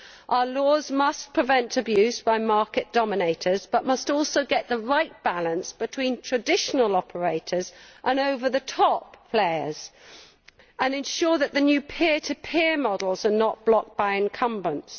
Our laws must prevent abuse by market dominators, but must also strike the right balance between traditional operators and over the top players and ensure that the new peer to peer models are not blocked by incumbents.